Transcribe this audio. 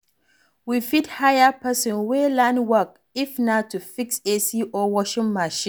We fit hire person wey learn work if na to fix AC or Washing machine